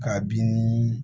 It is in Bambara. K'a bin nii